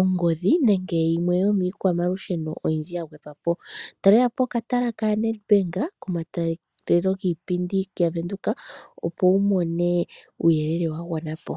ongodhi, nenge yimwe yomiikwamalusheno oyindji ya gwedhwapo. Talelapo okatala kaNedbank, komatalelo giipindi yavenduka opo wumone uuyelele wa gwana po.